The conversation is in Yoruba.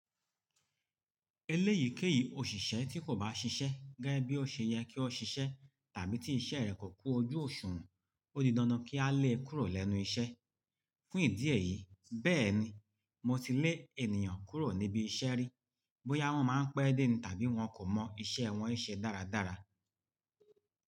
Eléyìí kéyìí òṣìṣẹ́ tí kò bá ṣiṣẹ́ gẹ́gẹ́ bí ó ṣe yẹ kí ó ṣiṣẹ́ tàbí tí iṣẹ́ rẹ̀ kò kú ojú òṣùwọ̀n, ó di dandan kí a lé e kúrò lẹ́nu iṣẹ́. Fún ìdí èyí, bẹ́ẹ̀ ni mo ti lé ènìyàn kúrò níbi iṣẹ́ rí bóyá wọ́n máa ń pẹ́ dé tàbí wọn kò mọ iṣẹ́ wọn ṣe dáradára.